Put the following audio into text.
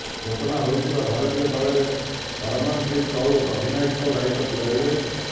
ଘୋଷଣା ହୋଇଥିବା ଭାରତୀୟ ଦଳରେ ହରମନପ୍ରିତ କୌର ଅଧିନାୟକ ଦାୟିତ୍ବ ତୁଲାଇବେ